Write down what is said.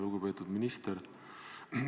Lugupeetud minister!